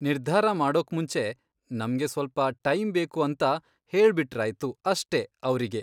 ನಿರ್ಧಾರ ಮಾಡೋಕ್ಮುಂಚೆ ನಮ್ಗೆ ಸ್ವಲ್ಪ ಟೈಮ್ ಬೇಕು ಅಂತ ಹೇಳ್ಬಿಟ್ರಾಯ್ತು ಅಷ್ಟೇ ಅವ್ರಿಗೆ.